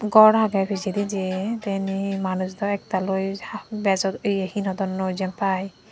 gor agey pijedi je tay indi manuj daw ektal oi bejo ye hinidonnoi jiyen pai.